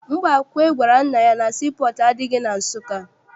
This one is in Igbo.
Mbakwe gwara nna ya na sii pọọtụ adịghị na Nsụka.